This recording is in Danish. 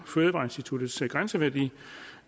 fødevareinstituttets grænseværdi